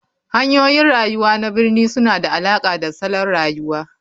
Hanyoyin rayuwa na birni suna da alaƙa da salon rayuwa.